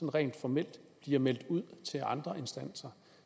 rent formelt bliver meldt ud til andre instanser